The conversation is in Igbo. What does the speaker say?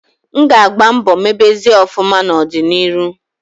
M ga agba mbo mebezie ofuma na odi na iru